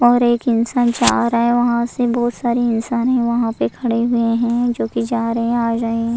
और एक इंसान जा रहा है वहां से बहुत सारे इंसान है वहां पर खड़े हुए हैं जो की जा रहे हैं आ गए हैं।